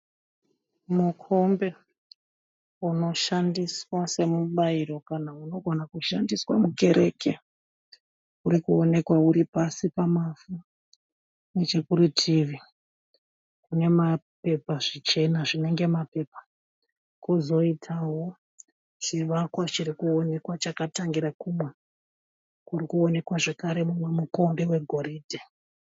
Mukombe unoshandiswa semubairo kana unogona kushandiswa mukereke. Urikuwonekwa uri pasi pemavhu. Nechekurutivi kune zvichena zvinenge mapepa. Kwozoitawo chivakwa chirikuwonekwa chakatangira kumwe kurikuonekwa zvakare mumwe mukombe wegoridhe